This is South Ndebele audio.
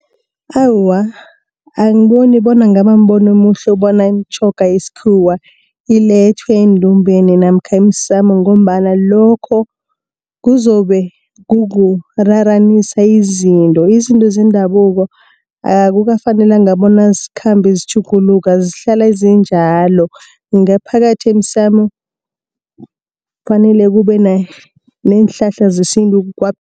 Awa, angiboni bona ingaba mbono omuhle bona imitjhoga yeskhuwa ilethwe endumbeni namkha emsamo, ngombana lokho kuzobe kukuraranisa izinto. Izinto zendabuko, akukafanelanga bona zikhambe zitjhuguluka zihlala zinjalo. Ngaphakathi emsamo kufanele kube neenhlahla zesintu kwaphela